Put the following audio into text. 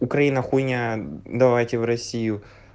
украина хуйня давайте в россию